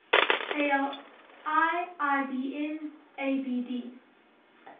ali ibn abd